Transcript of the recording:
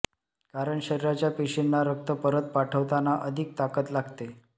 कारण शरीराच्या पेशींना रक्त परत पाठवताना अधिक ताकद लागते